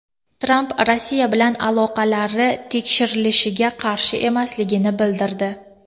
Tramp Rossiya bilan aloqalari tekshirilishiga qarshi emasligini bildirdi.